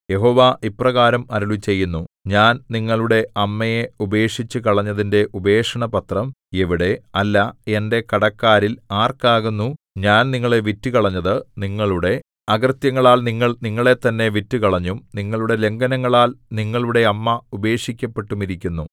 യഹോവ ഇപ്രകാരം അരുളിച്ചെയ്യുന്നു ഞാൻ നിങ്ങളുടെ അമ്മയെ ഉപേക്ഷിച്ചുകളഞ്ഞതിന്റെ ഉപേക്ഷണപത്രം എവിടെ അല്ല എന്റെ കടക്കാരിൽ ആർക്കാകുന്നു ഞാൻ നിങ്ങളെ വിറ്റുകളഞ്ഞത് നിങ്ങളുടെ അകൃത്യങ്ങളാൽ നിങ്ങൾ നിങ്ങളെത്തന്നെ വിറ്റുകളഞ്ഞും നിങ്ങളുടെ ലംഘനങ്ങളാൽ നിങ്ങളുടെ അമ്മ ഉപേക്ഷിക്കപ്പെട്ടുമിരിക്കുന്നു